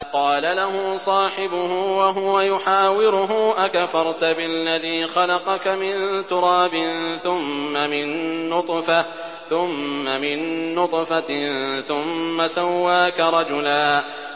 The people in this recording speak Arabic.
قَالَ لَهُ صَاحِبُهُ وَهُوَ يُحَاوِرُهُ أَكَفَرْتَ بِالَّذِي خَلَقَكَ مِن تُرَابٍ ثُمَّ مِن نُّطْفَةٍ ثُمَّ سَوَّاكَ رَجُلًا